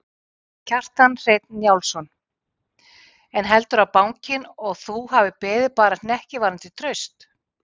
Kjartan Hreinn Njálsson: En heldurðu að bankinn og þú hafi beðið bara hnekki varðandi traust?